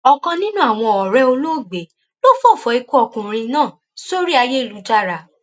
ọkan nínú àwọn ọrẹ olóògbé ló fọfọ ikú ọkùnrin náà sórí ayélujára